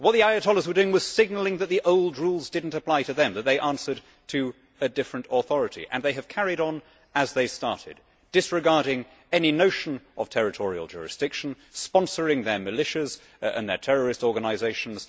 What the ayatollahs were doing was signalling that the old rules did not apply to them and that they answered to a different authority. They have carried on as they started, disregarding any notion of territorial jurisdiction, sponsoring their militias and their terrorist organisations.